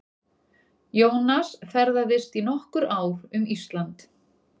Jónas ferðaðist í nokkur ár um Ísland.